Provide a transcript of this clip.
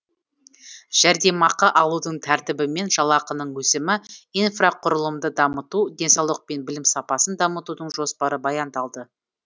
жәрдемақы алудың тәртібі мен жалақының өсімі инфрақұрылымды дамыту денсаулық пен білім сапасын дамытудың жоспары баяндалды